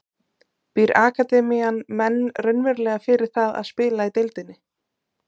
Býr akademían menn raunverulega fyrir það að spila í deildinni?